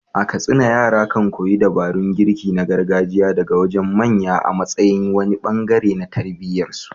A Katsina, yara kan koyi dabarun girki na gargajiya daga wajen manya a matsayin wani bangare na tarbiyyar su.